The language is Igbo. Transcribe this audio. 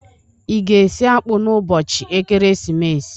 Ị ga-esi akpụ n'ụbọchị ekeresimesi?